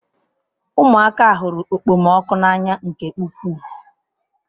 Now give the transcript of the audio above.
Ụmụaka hụrụ okpomọkụ n'anya nke ukwuu.